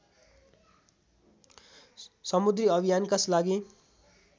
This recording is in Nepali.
समुद्री अभियानकस लागि